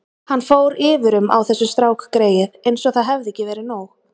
Hann fór yfir um á þessu, strákgreyið, eins og það hefði ekki verið nóg.